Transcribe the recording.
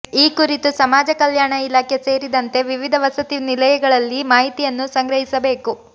ಈ ಕುರಿತು ಸಮಾಜ ಕಲ್ಯಾಣ ಇಲಾಖೆ ಸೇರಿದಂತೆ ವಿವಿಧ ವಸತಿ ನಿಲಯಗಳಲ್ಲಿ ಮಾಹಿತಿಯನ್ನು ಸಂಗ್ರಹಿಸಬೇಕು